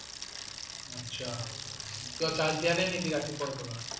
আচ্ছা কিয় charge দিয়া নাই নেকি ৰাতিপুৱাৰ পৰা?